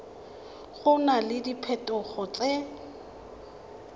go na le diphetogo tse